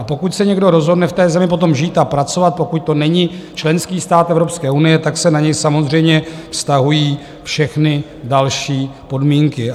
A pokud se někdo rozhodne v té zemi potom žít a pracovat, pokud to není členský stát Evropské unie, tak se na něj samozřejmě vztahují všechny další podmínky.